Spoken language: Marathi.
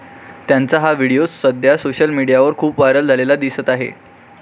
त्यांचा हा व्हिडीओ सध्या सोशल मीडियावर खूप व्हायरल झालेला दिसत आहे.